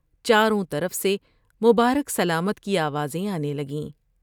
چاروں طرف سے مبارک سلامت کی آوازیں آنے لگیں ۔